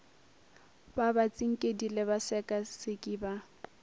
ba batsinkedi le basekaseki ba